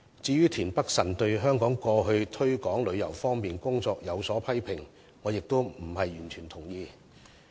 至於田北辰議員對過去香港在推廣旅遊方面的工作所作的批評，我亦並非完全同意。